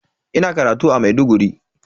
Ina karatu a Maiduguri.